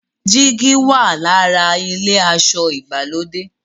jìgì wà l'ára ilé aṣọ ìgbàlódé.